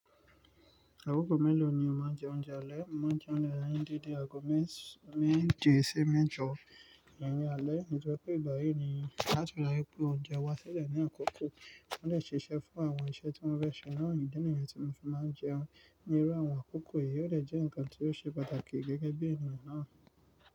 Àkókò mélòó ni o máa ń jẹ oúnjẹ alẹ́? Mọ máa ń jẹ oúnjẹ alẹ́ ní dede àgọ̀ méje sí méjọ iyen ni alẹ́. Ní ìgbà yìí ni láti ra púpọ̀ oúnjẹ wá sílẹ̀ ní àkókò tí ó lè ṣiṣẹ́ fún àwọn iṣẹ́ tí ó rẹ̀ ṣe láàárín ìdí nìyẹn tí mo fi máa ń jẹun. Ní irú àwọn àkókò yìí, ó lè jẹ́ nǹkan tí ó ṣe pàtàkì gẹ́gẹ́ bí ènìyàn náà.